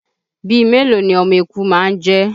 Bíi mélòó ni ọmọ eku má ń jẹ́?